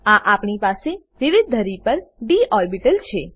આગળ આપણી પાસે વિવિધ ધરી પર ડી ઓર્બીટલ છે